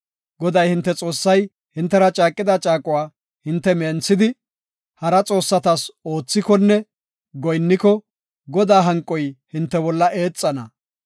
Goday, hinte Xoossay hintera caaqida caaquwa hinte menthidi, hara xoossatas oothikonne goyinniko, Godaa hanqoy hinte bolla eexana.